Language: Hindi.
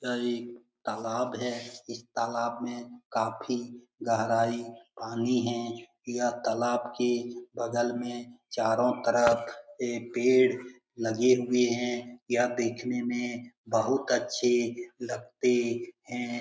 यह एक तालाब है। इस तालाब में काफी गहराई पानी है। यह तालाब के बगल में चारों तरफ पेड़ लगे हुए है। यह देखने में बहुत अच्छे लगते है ।